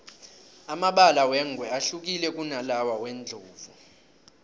amabala wengwe ahlukile kunalawa wendlovu